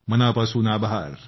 मनापासून आभार